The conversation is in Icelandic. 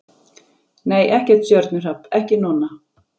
Nei, ekkert stjörnuhrap, ekki núna.